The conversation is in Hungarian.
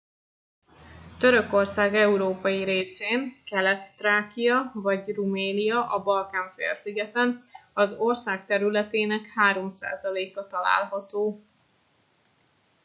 törökország európai részén kelet-thrákia vagy rumelia a balkán-félszigeten az ország területének 3%-a található